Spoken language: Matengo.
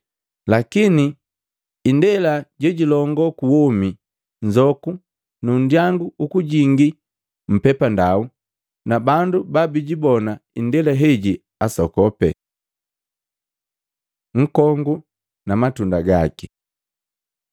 Lakini indela jejilongoo kuwomi nzoku nu ndyangu ukujingali mpepandau na bandu babijibona indela heji asokope.” Nkongu na matunda gaki Luka 6:43-44